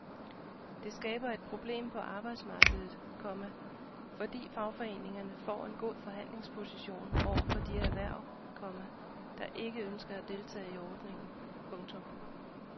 Det skaber et problem på arbejdsmarkedet, komma fordi fagforeningerne får en god forhandlingsposition over for de erhverv, komma der ikke ønsker at deltage i ordningen. punktum